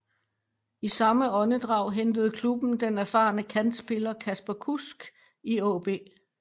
I samme åndedrag hentede klubben den erfarne kantspiller Kasper Kusk i AaB